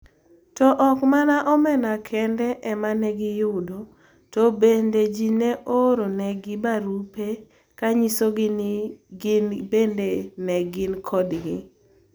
To ok mana omenda kende ema ne giyudo, to bende ji ne ooronegi barupe ka nyisogi ni gin bende ne gin kodgi.